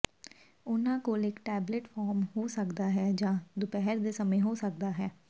ਉਨ੍ਹਾਂ ਕੋਲ ਇੱਕ ਟੈਬਲਿਟ ਫਾਰਮ ਹੋ ਸਕਦਾ ਹੈ ਜਾਂ ਦੁਪਹਿਰ ਦੇ ਸਮੇਂ ਹੋ ਸਕਦਾ ਹੈ